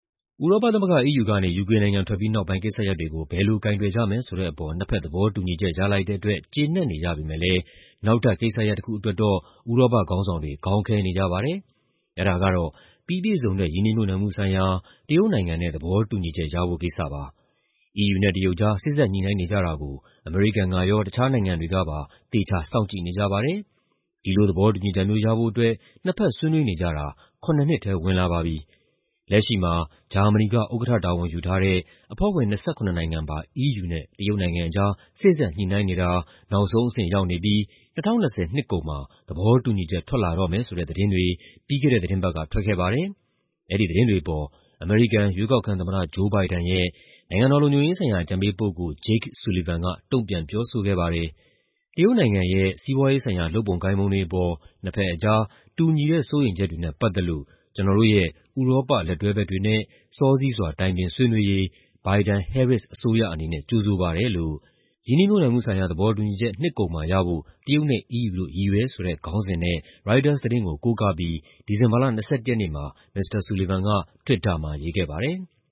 ဥရောပသမဂ္ဂ EU ကနေ ယူကေနိုင်ငံ ထွက်ပြီးနောက်ပိုင်း ကိစ္စရပ်တွေကို ဘယ်လိုကိုင်တွယ်ကြမယ် ဆိုတဲ့အပေါ် နှစ်ဖက်သဘောတူညီချက် ရလိုက်တဲ့အတွက် ကျေနပ်နေကြပေမယ့်လည်း နောက်ထပ်ကိစ္စရပ်တခုအတွက်တော့ ဥရောပခေါင်းဆောင်တွေ ခေါင်းခဲနေကြပါတယ်။ အဲဒါကတော့ ပြီးပြည့်စုံတဲ့ ရင်းနှီးမြှုပ်နှံမှုဆိုင်ရာ တရုတ်နဲ့ သဘောတူညီချက်ရဖို့ ကိစ္စပါ။ EU နဲ့ တရုတ်ကြား စေ့စပ်ညှိနှိုင်းနေကြတာကို အမေရိကန်ကရော တခြားနိုင်ငံတွေကပါ သေချာ စောင့်ကြည့်နေကြပါတယ်။ ဒီလိုသဘောတူညီချက်မျိုး ရဖို့အတွက် နှစ်ဖက်ဆွေးနွေးနေကြတာ ၇ နှစ်ထဲ ဝင်လာပါပြီ။ လက်ရှိမှာ ဂျာမနီက ဥက္ကဋ္ဌတာဝန် ယူထားတဲ့ အဖွဲ့ဝင် ၂၇ နိုင်ငံပါ EU နဲ့ တရုတ်ကြား စေ့စပ်ညှိနှိုင်းနေတာ နောက်ဆုံးအဆင့်ရောက်နေပြီး ၂၀၂၀ နှစ်ကုန်မှာ သဘောတူညီချက် ထွက်လာတော့မယ်ဆိုတဲ့ သတင်းတွေ ပြီးခဲ့တဲ့သီတင်းပတ်က ထွက်လာခဲ့ပါတယ်။ အဲဒီသတင်းတွေအပေါ် အမေရိကန် ရွေးကောက်ခံသမ္မတ Joe Biden ရဲ့ နိုင်ငံတော်လုံခြုံရေးဆိုင်ရာ အကြံပေးပုဂ္ဂိုလ် Jake Sullivan က တုံ့ပြန်ပြောဆိုခဲ့ပါတယ်။ "တရုတ်နိုင်ငံရဲ့ စီးပွားရေးဆိုင်ရာ လုပ်ပုံကိုင်ပုံတွေအပေါ် နှစ်ဖက်ကြား တူညီတဲ့ စိုးရိမ်ချက်တွေနဲ့ ပတ်သက်လို့ ကျနော်တို့ရဲ့ ဥရောပလက်တွဲဘက်တွေနဲ့ စောစီးစွာ တိုင်ပင်ဆွေးနွေးရေး Biden-Harris အစိုးရအနေနဲ့ ကြိုဆိုပါတယ်" လို့ ‘ရင်းနှီးမြှုပ်နှံမှုဆိုင်ရာ သဘောတူညီချက် နှစ်ကုန်မှာရဖို့ တရုတ်နဲ့ EU တို့ ရည်ရွယ်’ ဆိုတဲ့ခေါင်းစဉ်နဲ့ ရိုက်တာသတင်းကို ကိုးကားပြီး ဒီဇင်ဘာလ ၂၁ ရက်နေ့မှာ Mr. Sullivan က တွစ်တာမှာ ရေးခဲ့ပါတယ်။